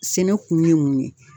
Sɛnɛ kun ye mun ye